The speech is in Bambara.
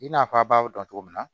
I n'a fɔ a b'a dɔn cogo min na